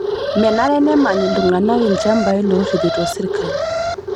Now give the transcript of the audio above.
Menare nemany iltung'ana lchambai lorripito sirkali